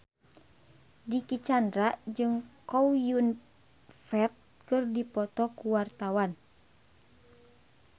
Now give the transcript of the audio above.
Dicky Chandra jeung Chow Yun Fat keur dipoto ku wartawan